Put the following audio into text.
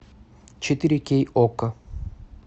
четыре кей окко